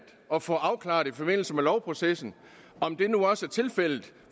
at få afklaret i forbindelse med lovprocessen om det nu også er tilfældet